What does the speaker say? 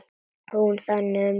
Hún þagði um hríð.